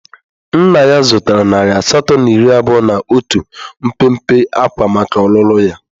Nna ya zụtara nari asatọ na iri abụọ na otu mpempe ákwá maka ọlụlụ ya.